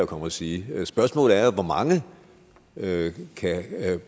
komme og sige spørgsmålet er jo hvor mange det kan